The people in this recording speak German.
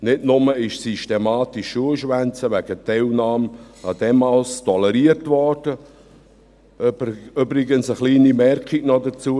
Nicht nur wurde systematisch das Schuleschwänzen wegen Teilnahme an Demos toleriert – übrigens eine kleine Anmerkung hierzu: